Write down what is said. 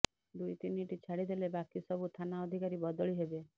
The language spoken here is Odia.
ଦୁଇ ତିନିଟି ଛାଡିଦେଲେ ବାକି ସବୁ ଥାନା ଅଧକାରୀ ବଦଳି ହେବେ